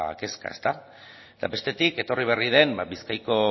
kezka ezta eta bestetik etorri berri den bizkaiko